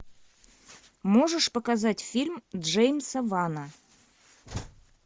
можешь показать фильм джеймса вана